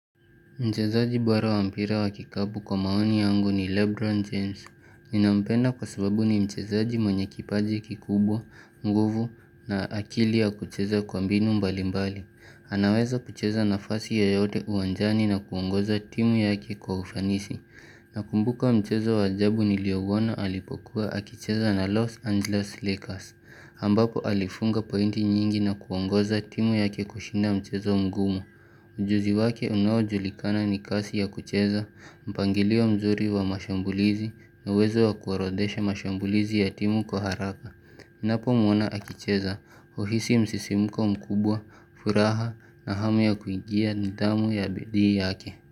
Mchezaji bora wa mpira wa kikapu kwa maoni yangu ni Lebron James. Ninampenda kwa sababu ni mchezaji mwenye kipaji kikubwa, mguvu na akili ya kucheza kwa mbinu mbali mbali. Anaweza kucheza nafasi ya yote uwanjani na kuongoza timu yake kwa ufanisi. Na kumbuka mchezwa wajabu niliouona alipokuwa akicheza na Los Angeles Lakers. Ambapo alifunga pointi nyingi na kuongoza timu yake kushinda mchezo mgumo. Ujuzi wake unawajulikana ni kasi ya kucheza, mpangilii wa mzuri wa mashambulizi na uwezo wa kuorodesha mashambulizi ya timu kwa haraka. Ninapo mwona akicheza huhisi msisimuko mkubwa, furaha na hamu ya kuingia nidhamu ya bidii yake.